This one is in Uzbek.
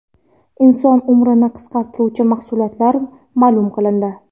Inson umrini qisqartiruvchi mahsulotlar ma’lum qilindi.